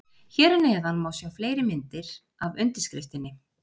Hér að neðan má sjá fleiri myndir af undirskriftinni.